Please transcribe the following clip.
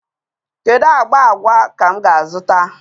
Kedu agba agwa ka m ga-azụta?